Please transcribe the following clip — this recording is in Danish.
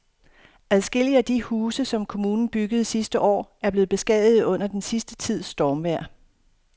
Adskillige af de huse, som kommunen byggede sidste år, er blevet beskadiget under den sidste tids stormvejr.